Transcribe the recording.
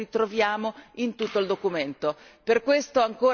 Solidarietà e sussidiarietà che noi ritroviamo in tutto il documento.